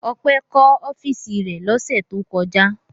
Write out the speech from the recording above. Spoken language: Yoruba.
Ọpẹ́ kọ́ ọ́fíísì rẹ̀ lọ́sẹ̀ tó kọjá.